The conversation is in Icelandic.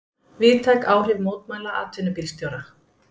Víðtæk áhrif mótmæla atvinnubílstjóra